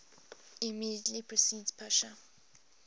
immediately precedes pascha